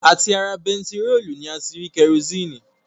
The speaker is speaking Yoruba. À ti ara bentiróòlù ni a ti rí kerosini